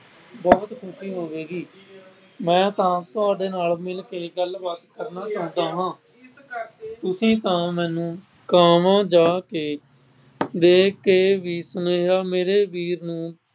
ਬਹੁਤ ਖੁਸ਼ੀ ਹੋਵੇਗੀ। ਮੈਂ ਤਾਂ ਤੁਹਾਡੇ ਨਾਲ ਮਿਲਕੇ ਗੱਲਬਾਤ ਕਰਨਾ ਚਾਹੁੰਦਾ ਹਾਂ। ਤੁਸੀਂ ਤਾਂ ਮੈਨੂੰ ਕਾਹਵਾਂ ਜਾ ਕੇ ਦੇਖ ਕੇ ਬਿਸ਼ਨੋਇਆ ਮੇਰੇ ਵੀਰ ਨੂੰ